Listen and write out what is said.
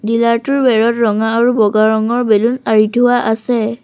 Dealer টোৰ বেৰত ৰঙা আৰু বগা ৰঙৰ বেলুন আঁৰি থোৱা আছে।